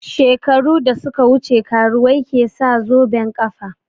Shekaru da suka wuce karuwai ke sa zoben ƙafa